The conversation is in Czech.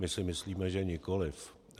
My si myslíme že nikoliv.